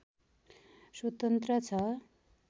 स्वतन्त्र छ